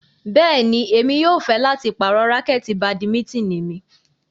Bẹ́ẹ̀ni, Emi yóò fẹ lati parọ rakẹti badimitini mi